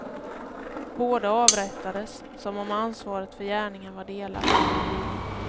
Båda avrättades, som om ansvaret för gärningen var delat.